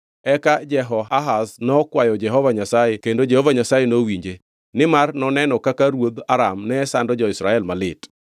Eka Jehoahaz nokwayo Jehova Nyasaye kendo Jehova Nyasaye nowinje, nimar noneno kaka ruodh Aram ne sando jo-Israel malit.